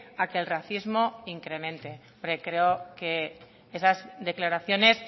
a que el racismo incremente creo que esas declaraciones